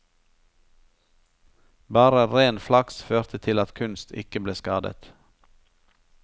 Bare ren flaks førte til at kunst ikke ble skadet.